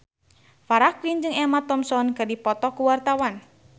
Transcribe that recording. Farah Quinn jeung Emma Thompson keur dipoto ku wartawan